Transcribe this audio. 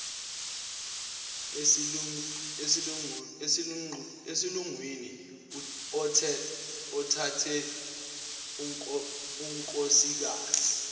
esilungwini othathe unkosikazi